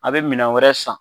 A be minɛn wɛrɛ san